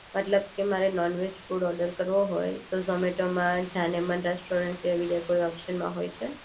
મતલબ કે મારે નોનવેજ ફૂડ ઓર્ડર કરવો હોય તો જો ઝૉમેતો માં જાનેમન રેસ્ટોરન્ટ એ બીજો કોઈ ઓપ્શન છે